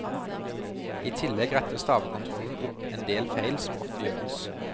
I tillegg retter stavekontrollen opp en del feil som ofte gjøres.